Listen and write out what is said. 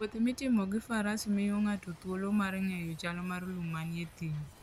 Wuoth mitimo gi Faras miyo ng'ato thuolo mar ng'eyo chal mar lum manie thim.